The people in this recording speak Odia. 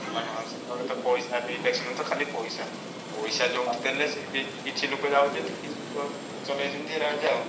ମାନେ ହଁ ପଇସାରେ election ତ ଖାଲି ପଇସା। ପଇସା ଯୋଉଠି ଦେଲେ ସେଇଠି କିଛି ଲୋକ ଯାଉଛନ୍ତି କିଛି ଲୋକ ଚଲେଇଛନ୍ତି ରାଜ ଆଉ।